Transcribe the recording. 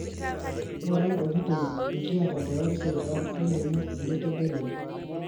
ngura ntokitin nikiata te website ang nilimu enitegelua